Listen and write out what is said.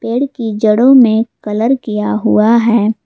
पेड़ की जड़ों में कलर किया हुआ है।